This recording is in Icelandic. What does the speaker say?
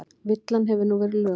Villan hefur nú verið löguð